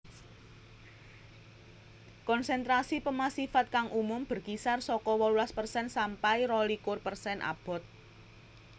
Konsentrasi pemasifan kang umum berkisar saka wolulas persen sampai rolikur persen abot